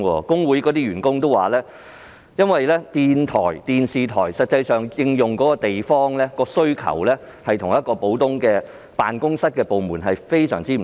工會員工表示，電台或電視台對運營地方的需求與普通部門對辦公室的需求非常不同。